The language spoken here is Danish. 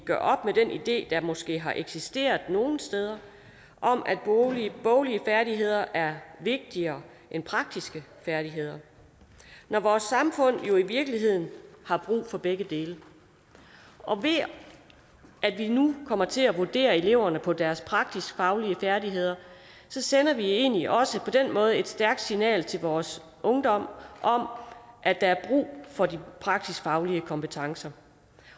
gør op med den idé der måske har eksisteret nogle steder om at boglige færdigheder er vigtigere end praktiske færdigheder når vores samfund jo i virkeligheden har brug for begge dele og ved at vi nu kommer til at vurdere eleverne på deres praksisfaglige færdigheder sender vi egentlig også et stærkt signal til vores ungdom om at der er brug for de praksisfaglige kompetencer